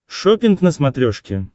шоппинг на смотрешке